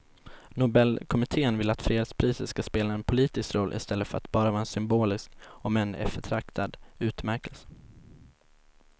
Nobelkommittén vill att fredspriset ska spela en politisk roll i stället för att bara vara en symbolisk om än eftertraktad utmärkelse.